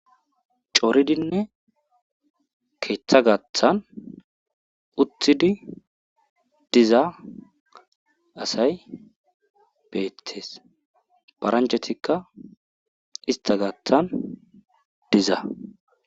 coridinne keeththa gaathan utthidi diza asay beettees paranchetikka ista gathan diza